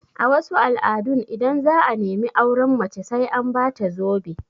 A wasu al'adun, idan za'a nemi auren mace sai an ba ta zobe